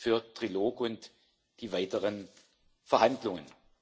für den Trilog und die weiteren Verhandlungen.